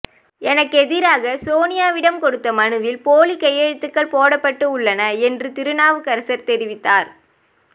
எனக்கு எதிராக சோனியாவிடம் கொடுத்த மனுவில் போலி கையெழுத்துகள் போடப்பட்டு உள்ளன என்று திருநாவுக்கரசர் தெரிவித்தார்